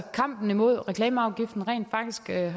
kampen mod reklameafgiften rent faktisk er